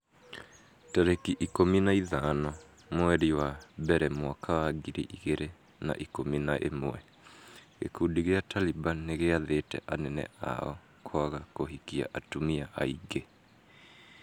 tarĩki ikũmi na ithano mweri wa mbere mwaka wa ngiri igĩrĩ na ikũmi na ĩmwe gĩkundi gĩa Taliban nĩgĩathĩte anene ao kwaga kũhikia atumia aingĩ.